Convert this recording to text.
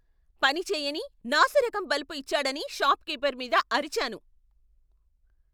పని చేయని, నాసిరకం బల్బు ఇచ్చాడని షాప్ కీపర్ మీద అరిచాను.